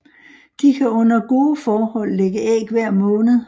De kan under gode forhold lægge æg hver måned